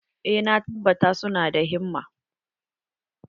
Eh, na tabbata su na da himma.